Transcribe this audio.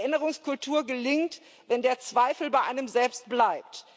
Erinnerungskultur gelingt, wenn der Zweifel bei einem selbst bleibt.